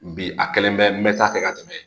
Bi a kelen bɛ taa kɛ ka tɛmɛ